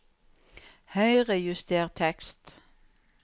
Høyrejuster tekst